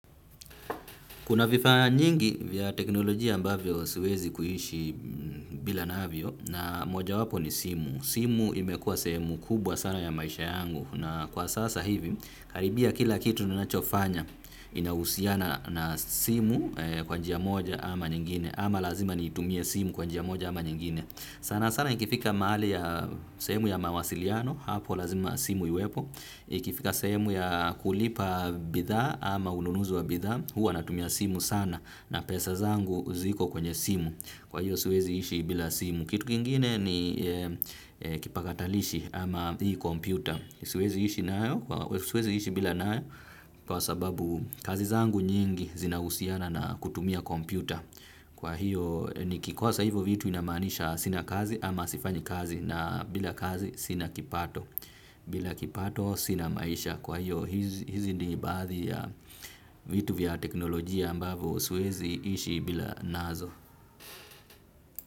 Kuna vifaa nyingi vya teknolojia ambavyo siwezi kuhishi bila navyo na moja wapo ni simu. Simu imekua seeemu kubwa sana ya maisha yangu na kwa sasa hivi karibia kila kitu ninachofanya inahusiana na simu kwa njia moja ama nyingine ama lazima nitumie simu kwa njia moja ama nyingine. Sana sana ikifika maali ya sehemu ya mawasiliano, hapo lazima simu iwepo, ikifika semu ya kulipa bidha ama ununuzi wa bidha, huwa natumia simu sana na pesa zangu ziko kwenye simu, kwa hiyo siwezi ishi bila simu. Kitu kingine ni kipakatalishi ama hii kompyuta. Siwezi ishi bila nae kwa sababu kazi zangu nyingi zinahusiana na kutumia kompyuta. Kwa hiyo nikikosa hivyo vitu inamanisha sina kazi ama sifanyi kazi na bila kazi sina kipato. Bila kipato sina maisha kwa hiyo hizi ni baadhi ya vitu vya teknolojia ambavo siwezi ishi bila nazo.